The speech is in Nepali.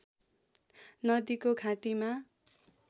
नदीको घाटीमा